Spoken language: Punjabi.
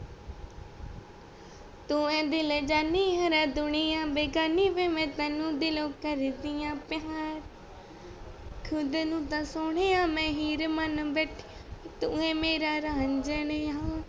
ਤੂੰ ਹੀ ਦਿਲ ਜਾਣੀ ਯਾਰਾ ਦੁਨੀਆ ਬੇਗਾਨੀ ਵੇ ਮੈਂ ਤੈਨੂੰ ਦਿਲੋਂ ਕਰਦੀ ਪਿਆਰ ਖੁਦ ਨਾ ਤਾ ਸੋਨਿਯੇ ਵਾ ਮੈਂ ਹੀਰ ਮਨ ਬੈਠੀ ਤੇ ਤੂੰ ਹੈ ਮੇਰਾ ਰਾਂਝਾ ਯਾਰ